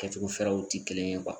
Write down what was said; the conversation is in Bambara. Kɛcogo fɛrɛw ti kelen ye .